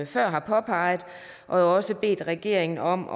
før har påpeget og også har bedt regeringen om